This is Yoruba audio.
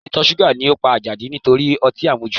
Ìtọ̀ ṣúgà ló pa Àjàdí nítorí ọtí àmujù